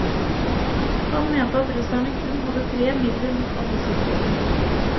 Han mente at russerne kun hadde tre midler mot alle sykdommer.